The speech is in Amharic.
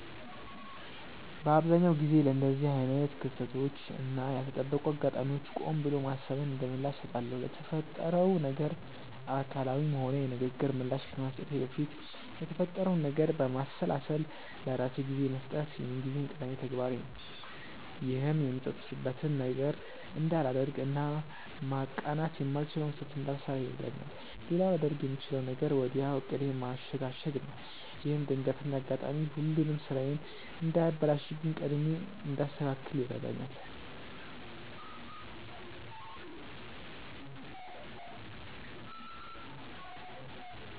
በአብዛኛው ጊዜ ለእንደዚህ አይነት ክስተቶች እና ያልተጠበቁ አጋጣሚዎች ቆም ብሎ ማሰብን እንደምላሽ እሰጣለሁ። ለተፈጠረው ነገር አካላዊም ሆነ የንግግር ምላሽ ከመስጠቴ በፊት የተፈጠረውን ነገር ለማሰላሰል ለራሴ ጊዜ መስጠት የምንጊዜም ቀዳሚ ተግባሬ ነው። ይህም የምጸጸትበትን ነገር እንዳላደርግ እና ማቃናት የማልችለውን ስህተት እንዳልሰራ ይረዳኛል። ሌላው ላደርግ የምችለው ነገር ወዲያው ዕቅዴን ማሸጋሸግ ነው። ይህም ድንገተኛው አጋጣሚ ሁሉንም ስራዬን እንዳያበላሽብኝ ቀድሜ እንዳስተካክል ይረዳኛል።